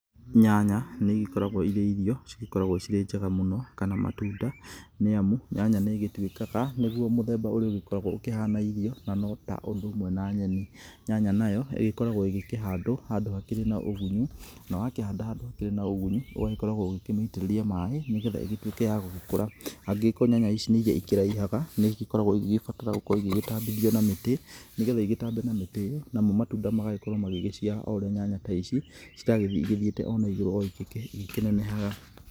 Nyanya nĩ igĩkoragwo irĩ irio cigĩkoragwo cirĩ njega mũno kana matunda nĩamu nyanya nĩ ĩgĩtuĩkaga nĩgũo mũthemba ũrĩa ũgĩkoragwo ũkĩhana irio na no ta ũndũ ũmwe na nyeni nyanya nayo igĩkoragwo igĩkĩhandwo handũ hakĩrĩ na ũgunyu na wakĩhanda handũ hakĩrĩ na ũgunyu ũgagĩkoragwo ũkĩmĩitĩrĩria maĩ nĩgetha igĩtuĩke ya gũgĩkũra, angĩkorwo nyanya ici nĩ nyanya irĩa ikĩraihaga nĩ ikoragwo igĩgĩbatara gũkorwo igĩtambithio na mĩtĩ nĩgetha igĩtambe na mĩtĩ ĩyo namo matunda magagĩkorwo magĩciara o ũrĩa nyanya ici ciragĩthiĩ ĩgĩthiite ona igũrũ ona igĩkĩnenehaga.